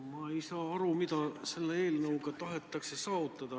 Ma ei saa aru, mida selle eelnõuga tahetakse saavutada.